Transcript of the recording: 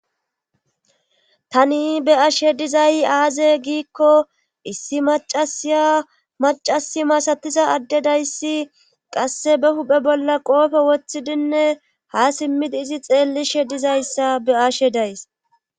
tani be ashe dizay aaze giikko issi macasiya macasi masatiza addedayssi qasse be huphe bolla qoofe woththidinne ha simmidi izi xeellishe dizayssa be ashe days